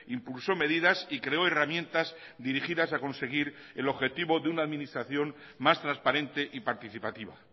impulsó medidas y creo herramientas dirigidas a conseguir el objetivo de una administración más transparente y participativa